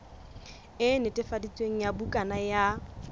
e netefaditsweng ya bukana ya